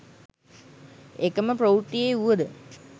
එකම ප්‍රවෘත්තියේ වුවද